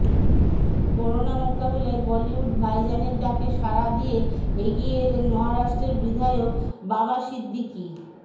corona মোকাবিলায় বলিউড ভাইজানের ডাকে সাড়া দিয়ে এগিয়ে এলেন মহারাষ্ট্রের বিধায়ক বাবা সিদ্দিকি